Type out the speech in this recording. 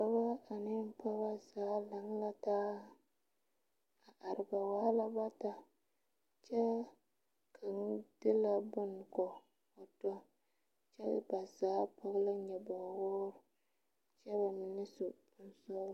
Dɔbɔ ane pɔgebɔ zaa laŋ la taa a are ba waa la bata kyɛ ka kaŋa de la boŋ ko o to kyɛ ba zaa tɔɔre la nyoɔboge wɔɔre kyɛ bamine ba mine su kparesɔglɔ.